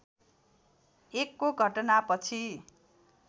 १ को घटनापछि